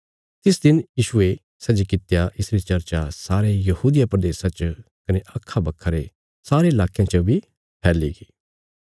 तिस दिन यीशुये सै जे कित्या इसरी चर्चा सारे यहूदिया प्रदेशा च कने अखा बखा रे सारे लाकयां च बी फैलीगी